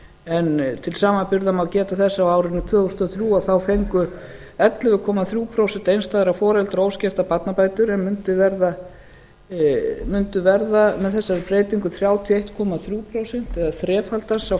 en til samanburðar má geta þess að á árinu tvö þúsund og þrjú fengu ellefu komma þrjú prósent einstæðra foreldra óskertar barnabætur en mundu verða með þessari breytingu þrjátíu og einn komma þrjú prósent eða þrefaldast sá